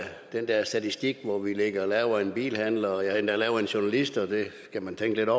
den der statistik hvor vi ligger lavere end bilforhandlere og ja endda lavere end journalister og det kan man tænke